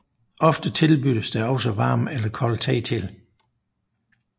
Ofte tilbydes der også varm eller kold te til